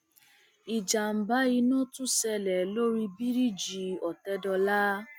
ìjàmbá iná tún ṣẹlẹ lórí bíríìjì òtẹdọlà